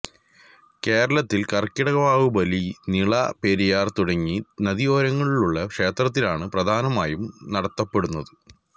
കേരളത്തിൽ കർക്കിടകവാവുബലി നിള പെരിയാർ തുടങ്ങി നദിയോരങ്ങളിലുള്ള ക്ഷേത്രങ്ങളിലാണ് പ്രധാനമായും നടത്തപ്പെടുന്നത്